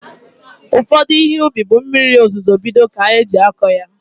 Ụfọdụ Ihe ubi bụ mmiri ozuzo bido ka eji akọ ya